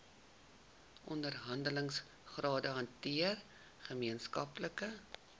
onderhandelingsrade hanteer gemeenskaplike